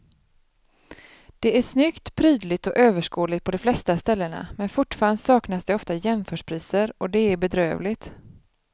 Det är snyggt, prydligt och överskådligt på de flesta ställena men fortfarande saknas det ofta jämförpriser och det är bedrövligt.